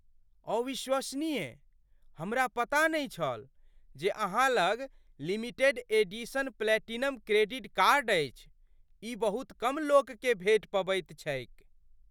अविश्वसनीय ! हमरा पता नहि छल जे अहाँ लग limited edition platinum credit card अछि। ई बहुत कम लोककेँ भेटि पबैत छैक।